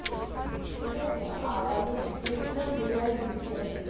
ঠিক আছে আর আমি এটা কিনেছিলাম Reliance Digital থেকে